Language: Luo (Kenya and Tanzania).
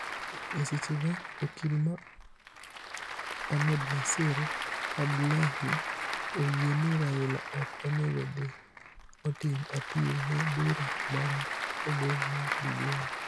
E sechego, okil ma Ahmednassir Abdullahi oyie ni Raila ok onego odhi otim apil ne bura ma ne ogol mar BBI.